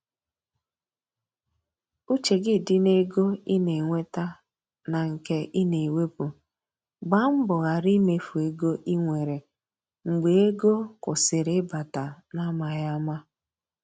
Uche gị di n’ego ị na enweta na nke i na ewepụ, gba mbọ ghara imefu ego i nwere mgbe ego kwụsịrị ịbata n’amaghị ama.